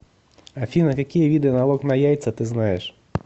афина какие виды налог на яйца ты знаешь